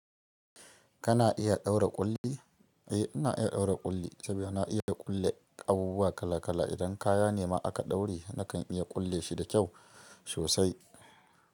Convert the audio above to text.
Kana iya ɗaura ƙulli? Eh, ina iya ɗaura ƙulli saboda na iya kulle abubuwa kala kala. Idan kaya ne ma aka ɗaure nakan iya kulle shi da kyau sosai.